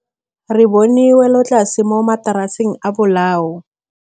Re bone wêlôtlasê mo mataraseng a bolaô.